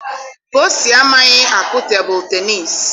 Kosi amaghị akụ tebụl tenịịsị.